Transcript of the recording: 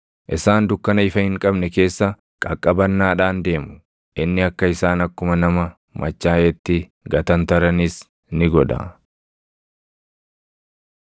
Isaan dukkana ifa hin qabne keessa qaqqabannaadhaan deemu; inni akka isaan akkuma nama machaaʼeetti gatantaranis ni godha.